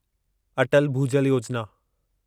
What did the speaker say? Atal Bhujal Yojana